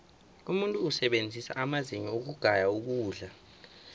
umuntu usebenzisa amazinyo ukugaya ukudla